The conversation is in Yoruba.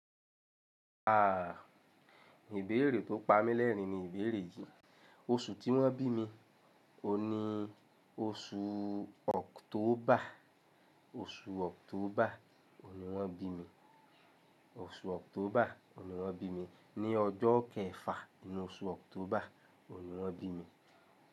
Aah! Ìbéèrè tó pa mí lẹ́rìn-ín ni ìbéèrè yìí. Oṣù tí wón bí mi? Òun ní oṣù October. Oṣù October òun ni wón bí mi. Oṣù October ni wón bí mi. Ni ọjọ́ kẹfà, inú oṣù October òun ni wón bí mi.